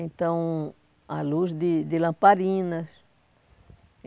Então, a luz de de lamparinas.